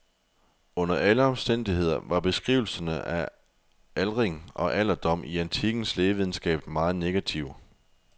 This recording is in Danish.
Under alle omstændigheder var beskrivelserne af aldring og alderdom i antikkens lægevidenskab meget negative.